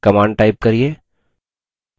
command type करिये: